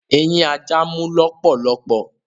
Eyin aja mú lólòlòpò